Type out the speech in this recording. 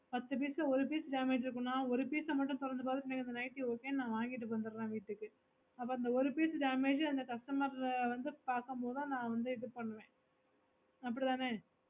பத்து piece ல ஒரு piece damage இருக்குன்னு ஒரு piece ஆஹ் மட்டும் திறந்து பாத்து எனக்கு அந்த nightly okay ன்னு ந வாங்கிட்டு வந்துறறோம் வீட்டுக்கு அப்போ அந்த ஒரு piece damage அப்போ அந்த customer வந்து பக்கமொடுதான் ந வந்து இது பண்ணுவேன் அப்புடித்தான